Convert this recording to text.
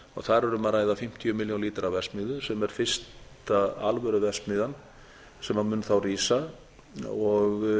þar er um að ræða fimmtíu milljón lítra verksmiðju sem er fyrsta alvöru verksmiðju sem mun þá rísa og